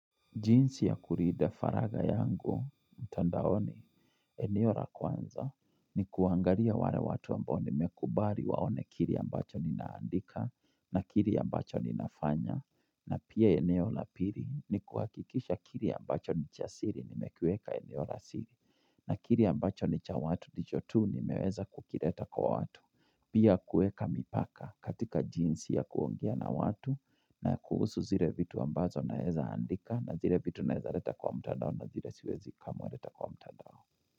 Jinsi ya kulinda faraga yangu, mtandaoni, eneo la kwanza, ni kuangalia wale watu ambao nimekubali waone kile ambacho ninaandika, na kile ambacho ninafanya, na pia eneo la pili, ni kuhakikisha kile ambacho nichasiri, nimekueka eneo la siri, na kile ambacho nicha watu nijotu, nimeweza kukileta kwa watu. Pia kueka mipaka katika jinsi ya kuongea na watu na kuhusu zile vitu ambazo naeza andika na zile vitu naeza leta kwa mtadao na zile siwezi kamwe leta kwa mtadao.